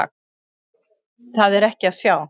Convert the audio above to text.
Það er ekki að sjá.